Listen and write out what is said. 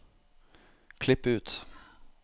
Klipp ut